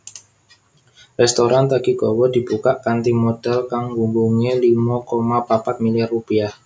Rèstoran Takigawa dibukak kanthi modhal kang gunggungé limo koma papat milyar rupiah